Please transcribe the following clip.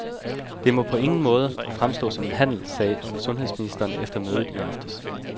Det må på ingen måde fremstå som en handel, sagde sundhedsministeren efter mødet i aftes.